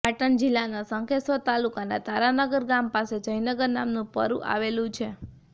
પાટણ જિલ્લાના શંખેશ્વર તાલુકાના તારાનગર ગામ પાસે જયનગર નામનું પરૂં આવેલું છે